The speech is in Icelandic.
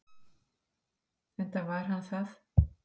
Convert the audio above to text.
Enda var hann það.